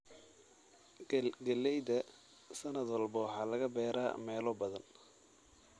Galleyda: sanad walba waxaa laga beeraa meelo badan.